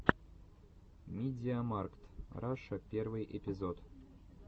мидиамаркт раша первый эпизод